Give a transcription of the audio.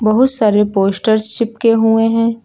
बहुत सारे पोस्टर्स चिपके हुए हैं।